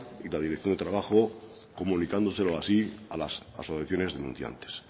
y la dirección de trabajo comunicándoselo así a las asociaciones denunciantes